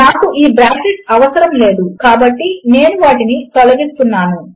నాకు ఈ బ్రాకెట్లు అవసరము లేదు కాబట్టి నేను వాటిని తొలగిస్తున్నాను